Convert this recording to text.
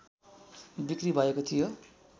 बिक्रि भएको थियो